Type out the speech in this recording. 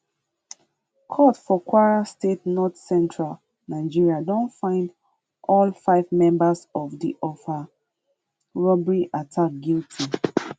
court for kwara state northcentral nigeria don find all five members of of di offa robbery attack guilty